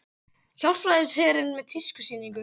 Hjálpræðisherinn með tískusýningu